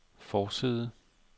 forside